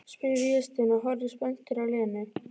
spyr Vésteinn og horfir spenntur á Lenu.